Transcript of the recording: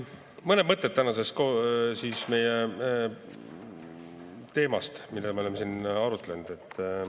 Mõned mõtted meie tänasest teemast, mida me oleme siin arutanud.